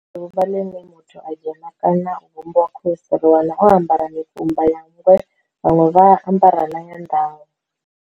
Fhedzi ḓuvha ḽine muthu a dzhena kana u vhumbwa Khosi, ri wana o ambara mikumba ya Nngwe, vhaṅwe vha a ambara na ya ndau.